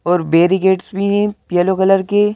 और बैरिकेड्स भी हैं येलो कलर के --